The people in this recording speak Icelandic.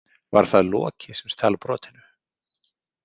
Var það Loki sem stal brotinu?